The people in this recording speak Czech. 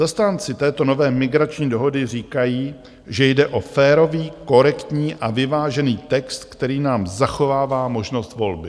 Zastánci této nové migrační dohody říkají, že jde o férový, korektní a vyvážený text, který nám zachovává možnost volby.